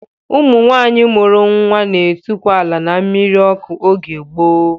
Ụmụ nwaanyị mụrụ nwa n'etukwu ala n'mmiri ọkụ oge gboo